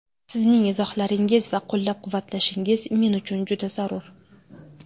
Sizning izohlaringiz va qo‘llab-quvvatlashingiz men uchun juda zarur.